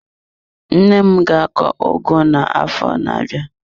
Nne m ga akọ ugu na-arọ na-abịa.